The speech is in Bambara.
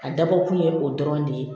A dabɔ kun ye o dɔrɔn de ye